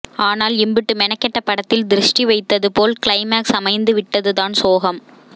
ஆனால் இம்புட்டு மெனக்கெட்ட படத்தில் திருஷ்டி வைத்தது போல் க்ளைமாக்ஸ் அமைந்து விட்டதுதான் சோகம்